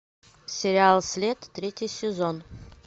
сериал след третий сезон